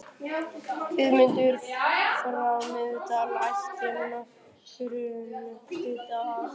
Guðmundur frá Miðdal ætti nokkurn hlut að.